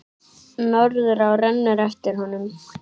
Norðurá rennur eftir honum.